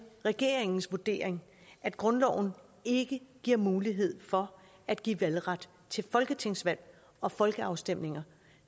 regeringens vurdering at grundloven ikke giver mulighed for at give valgret til folketingsvalg og folkeafstemninger